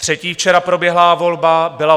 Třetí včera proběhlá volba byla